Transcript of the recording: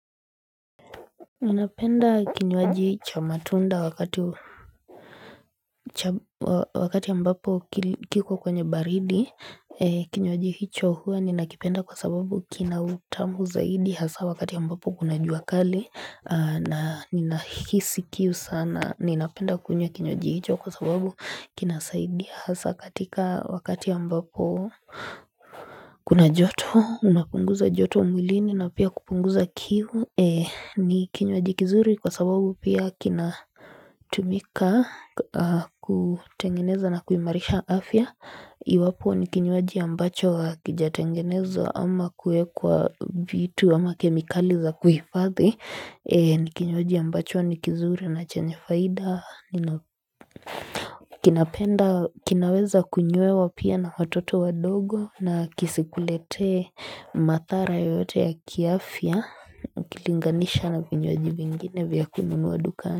Ninapenda kinywaji cha matunda wakati ambapo kiko kwenye baridi Kinywaji hicho hua ninakipenda kwa sababu kina utamu zaidi hasa wakati ambapo kuna jua kali na ninahisi kiu sana ninapenda kunywa kinywaji hicho kwa sababu kinasaidia hasa katika wakati ambapo kuna joto unapunguza joto mwilini na pia kupunguza kiu ni kinywaji kizuri kwa sababu pia kina tumika kutengeneza na kuimarisha afya Iwapo ni kinywaji ambacho akijatengenezwa ama kuekwa vitu ama kemikali za kuhifathi ni kinywaji ambacho ni kizuri na chenye faida kinaweza kunywewa pia na watoto wadogo na kisikuletee mathara yoyote ya kiafya ukilinganisha na vinywaji vingine vya kununua dukani.